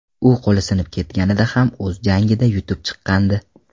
U qo‘li sinib ketganida ham o‘z jangida yutib chiqqandi .